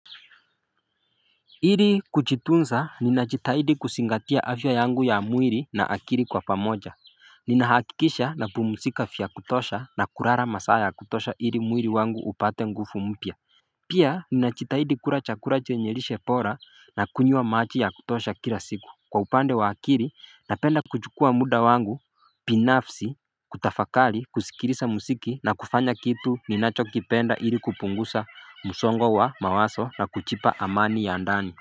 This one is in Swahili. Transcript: Ili kujitunza ninajitahidi kuzingatia afya yangu ya mwili na akili kwa pamoja Ninahakikisha napumzika vya kutosha na kulala masaa ya kutosha ili mwili wangu upate nguvu mpya Pia ninajitahidi kula chakula chenye lishe bora na kunywa maji ya kutosha kila siku kwa upande wa akili napenda kuchukua muda wangu binafsi kutafakari kusikiliza muziki na kufanya kitu ninachokipenda ili kupunguza msongo wa mawazo na kujipa amani ya ndani.